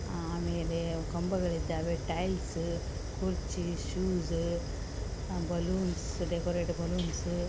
ಆಮೇಲೆ ಖಂಬಗಳು ಇದಾವೆ ಟೈಲ್ಸ್ ಬಲೂನ್ಸ್ ಕುರ್ಚಿ ಶೂಸ್ ಡೆಕೊರೇಟ್ ಬಲೂನ್ಸ್ --